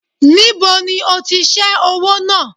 Níbo ni ó ti ṣe owó náà?